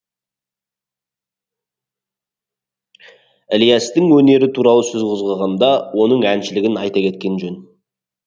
ілиястың өнері туралы сөз қозғағанда оның әншілігін айта кеткен жөн